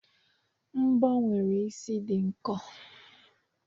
mbọ nwere isi ihe dị nkọ